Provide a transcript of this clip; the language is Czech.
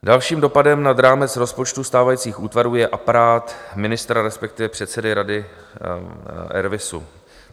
Dalším dopadem nad rámec rozpočtu stávajících útvarů je aparát ministra, respektive předsedy Rady RVIS.